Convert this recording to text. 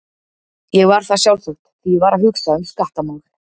Ég var það sjálfsagt, því ég var að hugsa um skattamál.